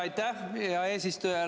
Aitäh, hea eesistuja!